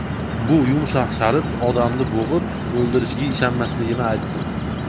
Bu yumshoq sharf odamni bo‘g‘ib, o‘ldirishiga ishonmasligimni aytdim.